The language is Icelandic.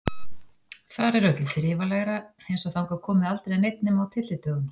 Þar er öllu þrifalegra, eins og þangað komi aldrei neinn nema á tyllidögum.